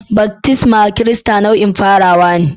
Baftisma Kirista nau'in farawa ne..